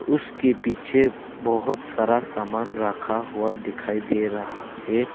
उसके पीछे बहोत सारा सामान राखा हुआ दिखाई दे रहा है।